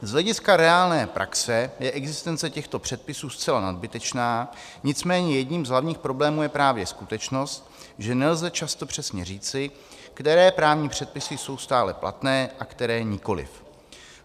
Z hlediska reálné praxe je existence těchto předpisů zcela nadbytečná, nicméně jedním z hlavních problémů je právě skutečnost, že nelze často přesně říci, které právní předpisy jsou stále platné a které nikoliv.